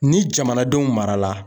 Ni jamanadenw marala